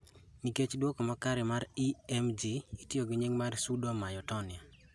Nikech duoko makare mag EMG itiyo gi nying mar pseudo myotonia